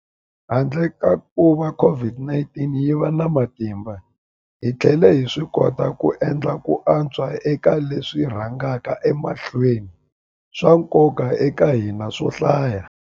Handle ka kuva COVID-19 yi va na matimba, hi tlhele hi swikota ku endla ku antswa eka leswi swi rhangaka emahlweni swa nkoka eka hina swo hlaya.